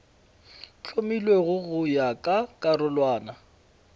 hlomilwego go ya ka karolwana